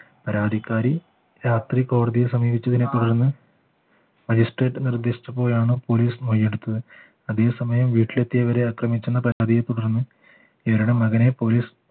പരാതിക്കാരി രാത്രി കോടതിയെ സമീപിച്ചതിനെ തുടർന്ന് magistrate നിർദ്ദേശിച്ചപ്പോഴാണ് police മൊഴി എടുത്തത് അതേസമയം വീട്ടിലെത്തിയവരെ ആക്രമിച്ചന്ന പരാതിയെ തുടർന്ന് മകനെ police